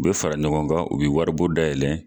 U bɛ fara ɲɔgɔn kan u bɛ waribon dayɛlɛ